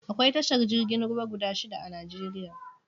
Akwai tashar jirgin ruwa guda shida a Najeriya